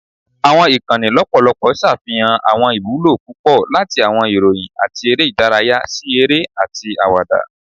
Awọn ikanni lọpọlọpọ ṣafihan awọn iwulo pupọ, lati awọn iroyin ati ere idaraya si ere ati awada.